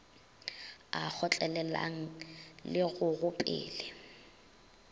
a kgotlelelang le go gopele